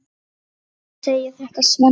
Ekki segja þetta, Svenni.